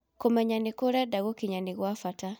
Kũmenya nĩkũ ũrenda gũkinya nĩ gwa bata.